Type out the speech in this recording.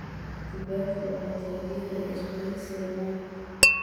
Kibaki waxa taageeray isbahaysiga NARC.